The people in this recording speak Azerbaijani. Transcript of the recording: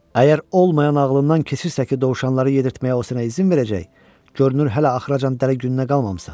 Əgər olmayan ağlından keçirsə ki, dovşanları yedirtməyə o sənə izin verəcək, görünür hələ axıracan dəli gününə qalmamısan.